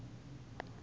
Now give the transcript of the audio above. ku swi endla loko u